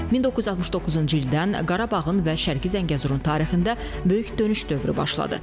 1969-cu ildən Qarabağın və Şərqi Zəngəzurun tarixində böyük dönüş dövrü başladı.